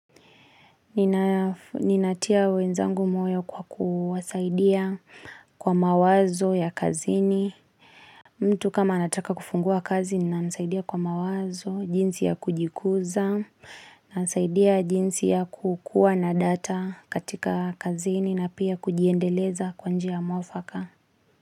Ninatia wenzangu moyo kwa kuwasaidia kwa mawazo ya kazini. Mtu kama anataka kufungua kazi nina msaidia kwa mawazo, jinsi ya kujikuza, nasaidia jinsi ya kukua na data katika kazini na pia kujiendeleza kwa njia mwafaka.